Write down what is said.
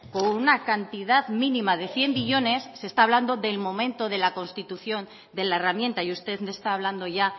con una cantidad mínima de cien millónes se está hablando del momento de la constitución de la herramienta y usted me está hablando ya